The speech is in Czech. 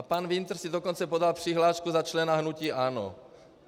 A pan Winter si dokonce podal přihlášku za člena hnutí ANO.